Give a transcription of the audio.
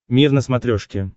мир на смотрешке